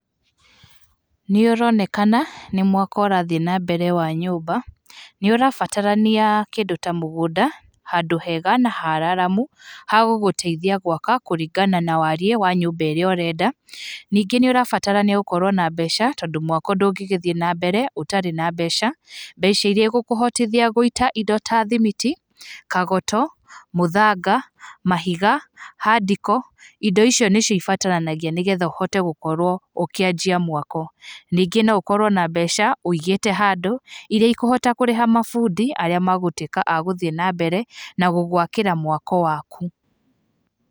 Nĩ ũronekana nĩ mwako ũrathiĩ na mbere wa nyũmba. Nĩ ũrabatarania kĩndũ ta mũgũnda, handũ hega na hararamu ha gũgũteithia gwaka kũringana na wariĩ wa nyũmba ĩrĩa ũrenda. Ningĩ nĩ ũrabatara nĩ gũkorwo na mbeca, tondũ ndũngĩgĩthiĩ na mbere ũtarĩ na mbeca cia mwako. Mbeca irĩa igũkũhotithia gũita indo ta thimiti, kagoto, mũthanga, mahiga, hard core, indo ici nĩcio ibataranagia nĩgetha ũhote gũkorwo ũkĩanjia mwako. Ningĩ no ũkorwo na mbeca ũigĩte handũ irĩa ikũhota kũrĩha mabundi arĩa magũtuĩka a gũthiĩ na mbere na gũgwakĩra mwako waku.